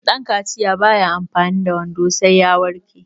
dankaciya ba ya amfani da wando sai ya warke